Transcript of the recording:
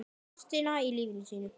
Ástina í lífi sínu.